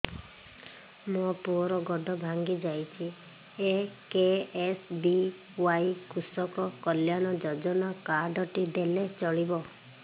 ମୋ ପୁଅର ଗୋଡ଼ ଭାଙ୍ଗି ଯାଇଛି ଏ କେ.ଏସ୍.ବି.ୱାଇ କୃଷକ କଲ୍ୟାଣ ଯୋଜନା କାର୍ଡ ଟି ଦେଲେ ଚଳିବ